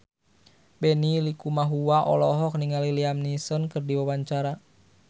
Benny Likumahua olohok ningali Liam Neeson keur diwawancara